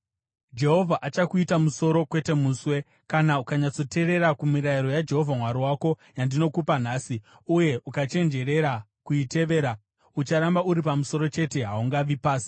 Jehovha achakuita musoro, kwete muswe. Kana ukanyatsoteerera kumirayiro yaJehovha Mwari wako yandinokupa nhasi uye ukachenjerera kuitevera, ucharamba uri pamusoro chete, haungavi pasi.